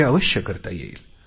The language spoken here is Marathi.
हे अवश्य करता येईल